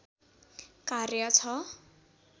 कार्य छ